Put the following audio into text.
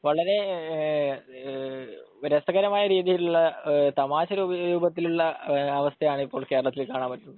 വളരെ രസകരമായ രീതിയിലുള്ള തമാശ രൂപത്തിലുള്ള അവസ്ഥയാണ് ഇപ്പോൾ കേരളത്തിൽ കാണാൻ പറ്റുന്നത്